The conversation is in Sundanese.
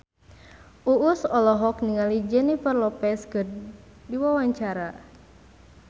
Uus olohok ningali Jennifer Lopez keur diwawancara